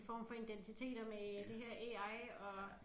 Form for identitet og med det her AI og